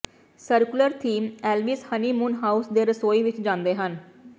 circular theme Elvis honeymoon house ਦੇ ਰਸੋਈ ਵਿਚ ਜਾਂਦੇ ਹਨ